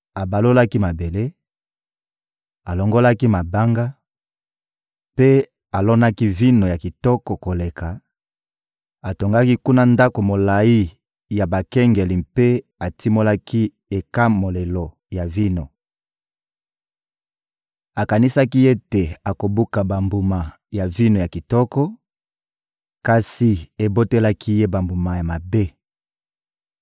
abalolaki mabele, alongolaki mabanga, mpe alonaki vino ya kitoko koleka; atongaki kuna ndako molayi ya bakengeli mpe atimolaki ekamolelo ya vino. Akanisaki ete akobuka bambuma ya vino ya kitoko, kasi ebotelaki ye bambuma ya mabe!